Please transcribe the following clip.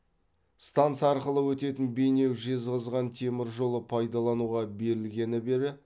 станса арқылы өтетін бейнеу жезқазған темір жолы пайдалануға берілгені бері